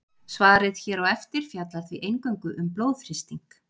svarið hér á eftir fjallar því eingöngu um blóðþrýsting